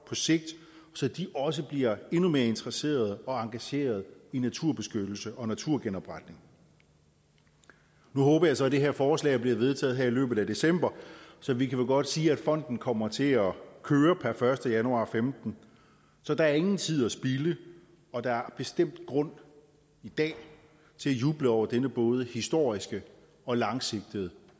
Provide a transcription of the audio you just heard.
på sigt så de også bliver endnu mere interesserede og engagerede i naturbeskyttelse og naturgenopretning nu håber jeg så at det her forslag bliver vedtaget i løbet af december så vi kan vel godt sige at fonden kommer til at køre per første januar og femten så der er ingen tid at spilde og der er bestemt grund i dag til at juble over denne både historiske og langsigtede